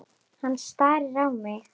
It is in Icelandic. Hann starir á mig.